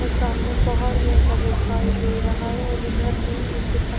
और सामने पहाड़ जैसा दिखाई दे रहा है और इधर भी नीचे पर --